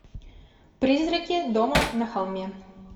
призраки дома на холме